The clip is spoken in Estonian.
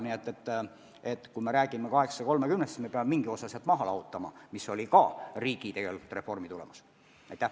Nii et kui me räägime 830-st, siis peame mingi osa sealt maha lahutama, mis oli ka riigireformi tagajärg.